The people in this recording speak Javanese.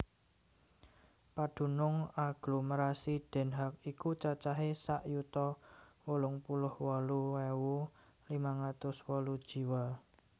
Padunung aglomerasi Den Haag iku cacahé sak yuta wolung puluh wolu ewu limang atus wolu jiwa